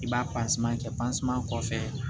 I b'a kɛ kɔfɛ